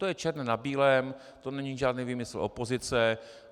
To je černé na bílém, to není žádný výmysl opozice.